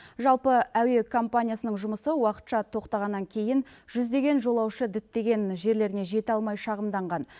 жалпы әуе компаниясының жұмысы уақытша тоқтағаннан кейін жүздеген жолаушы діттеген жерлеріне жете алмай шағымданған